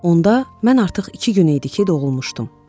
Onda mən artıq iki gün idi ki, doğulmuşdum.